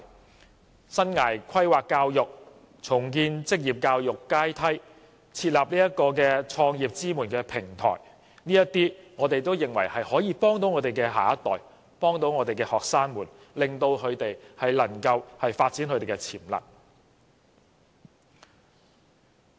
政府亦應加強生涯規劃教育，重建職業教育階梯，並設立創業支援平台；我們認為這些舉措可以幫助我們的下一代，幫助我們的學生，令他們能夠發展潛能。